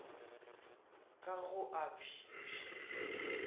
ka go a bj bj